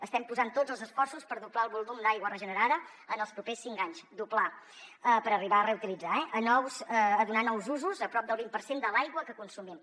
estem posant tots els esforços per doblar el volum d’aigua regenerada en els propers cinc anys doblar per arribar a reutilitzar eh a donar nous usos a prop del vint per cent de l’aigua que consumim